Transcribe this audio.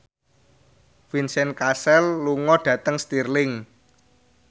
Vincent Cassel lunga dhateng Stirling